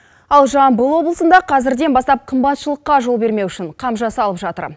ал жамбыл облысында қазірден бастап қымбатшылыққа жол бермеу үшін қам жасалып жатыр